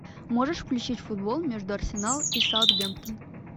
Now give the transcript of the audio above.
можешь включить футбол между арсенал и саутгемптон